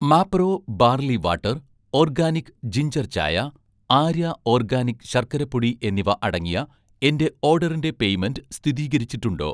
Mapro barley water, organic ജിൻജർചായ, 'Arya' organic ശർക്കര പൊടി എന്നിവ അടങ്ങിയ എന്‍റെ ഓഡറിന്‍റെ പെയ്മെന്റ് സ്ഥിതീകരിച്ചിട്ടുണ്ടോ?